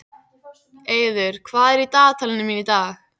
Eiður, hvað er í dagatalinu mínu í dag?